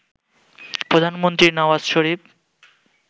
প্রধানমন্ত্রী নওয়াজ শরীফ